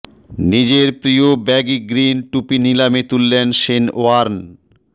নিজের প্রিয় baggy green টুপি নিলামে তুললেন শেন ওয়ার্ন